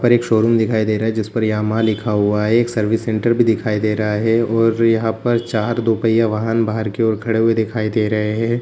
पर एक शोरूम दिखाई दे रहा जिसपर यामाहा लिखा हुआ है एक सर्विस सेंटर भी दिखाई दे रहा हैऔर यहां पर चार दो पहिया वाहन बाहर की ओर खड़े हुए दिखाई दे रहे है।